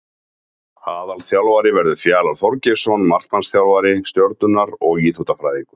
Aðalþjálfari verður Fjalar Þorgeirsson markmannsþjálfari Stjörnunnar og Íþróttafræðingur.